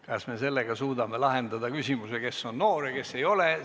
Kas me sellega suudame lahendada küsimuse, kes on noor ja kes ei ole?